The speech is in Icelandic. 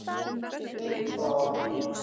Hann reif það af mér.